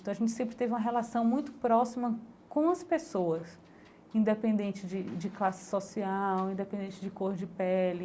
Então a gente sempre teve uma relação muito próxima com as pessoas, independente de de classe social, independente de cor de pele